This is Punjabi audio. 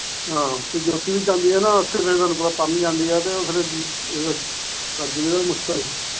ਹਾਂ ਤੇ ਜੋਤੀ ਵੀ ਜਾਂਦੀ ਆ ਨਾ ਤੇ ਉਹ ਪਰ ਨੂੰ ਜਾਂਦੀ ਆ ਤੇ ਫਿਰ